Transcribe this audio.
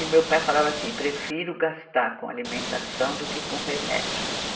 E meu pai falava assim, prefiro gastar com alimentação do que com remédios.